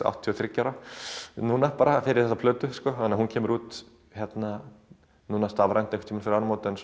áttatíu og þriggja ára núna bara fyrir þessa plötu hún kemur út stafrænt núna fyrir áramót en